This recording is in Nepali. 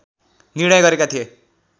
निर्णय गरेका थिए